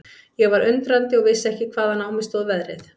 Ég var undrandi og vissi ekki hvaðan á mig stóð veðrið.